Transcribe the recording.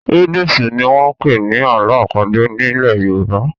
Riddles' ni wọ́n ń pè ní àlọ́ àpagbè nílẹ̀ Yorùbá.